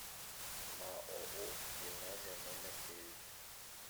маоу гимназия номер девять